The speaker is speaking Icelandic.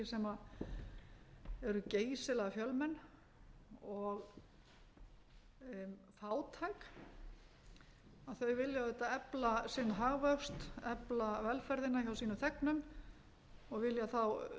sem eru geysilega fjölmenn og fátæk þau vilja auðvitað efla sinn hagvöxt efla velferðina hjá mínu þegnum og vilja þá auðvitað geta